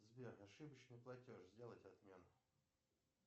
сбер ошибочный платеж сделать отмену